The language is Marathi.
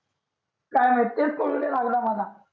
काय वाटाय कळू नाही राहील मला